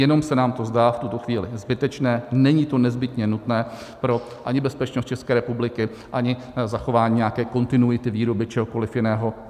Jenom se nám to zdá v tuto chvíli zbytečné, není to nezbytně nutné ani pro bezpečnost České republiky, ani zachování nějaké kontinuity výroby čehokoliv jiného.